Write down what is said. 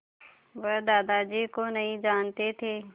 वह दादाजी को नहीं जानते थे